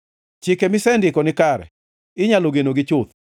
Chike misendiko nikare, inyalo genogi chuth.